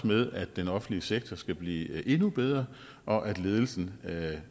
med at den offentlige sektor skal blive endnu bedre og at ledelsen